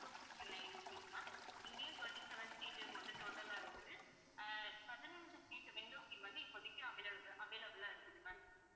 two fifty-nine rupees தான் இங்கேயும், twenty-seven seat வந்து total ஆ இருக்குது அஹ் பதினைஞ்சு seat window seat இப்போதைக்கு availab~ available ஆ இருக்குது ma'am